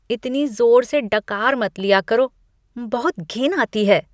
इतनी जोर से डकार मत लिया करों, बहुत घिन आती है।